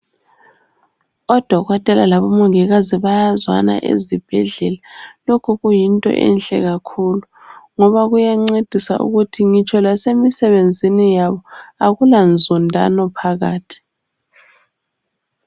Odokotela labomongikazi bayazwana ezibhedlela. Lokhu kuyinto enhle kakhulu ngoba kuyancedisa ukuthi ngitsho lasemisebenzeni yabo akula nzondano phakathi.